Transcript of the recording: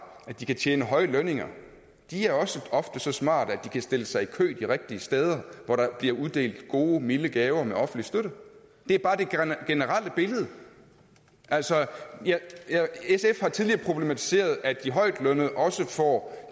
at de kan tjene høje lønninger også ofte er så smarte at de kan stille sig i kø de rigtige steder hvor der bliver uddelt gode milde gaver med offentlig støtte det er bare det generelle billede altså sf har tidligere problematiseret at de højtlønnede også får